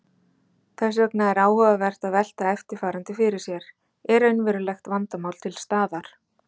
Þess vegna er áhugavert að velta eftirfarandi fyrir sér: Er raunverulegt vandamál til staðar?